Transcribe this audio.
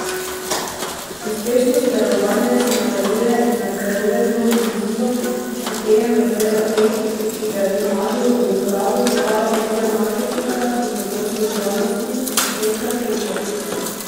Uspešno sodelovanje se nadaljuje in nadgrajuje z novim vozilom, kupejem razreda E, ki ga je Tomažu v uporabo predala vodja marketinga in odnosov z javnostmi, Metka Kejžar.